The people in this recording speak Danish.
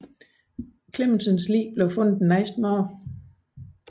Clemmensens lig blev fundet næste morgen